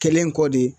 Kɛlen kɔ de